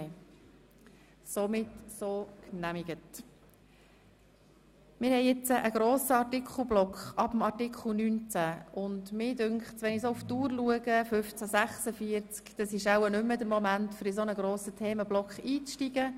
Angesichts der Uhrzeit von 15.46 Uhr halte ich es nicht mehr für den richtigen Moment, um in einen solch grossen Themenblock einzusteigen.